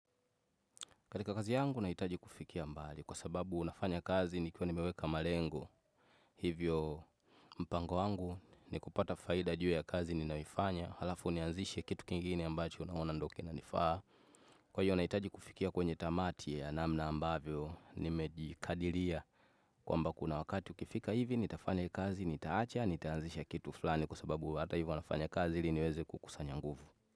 Kalika kazi yangu naitaji kufikia mbali kwa sababu nafanya kazi nikiwa nimeweka malengo hivyo mpango wangu ni kupata faida juu ya kazi ni naifanya halafu nianzishe kitu kingini ambacho naona ndio kinanifaa kwa hiyo naitaji kufikia kwenye tamati ya namna ambavyo nimejikadilia kwamba kuna wakati ukifika hivi nitafanya kazi nitaacha nitaanzisha kitu flani kwa sababu hata hivyo unafanya kazi hili niweze kukusanya nguvu.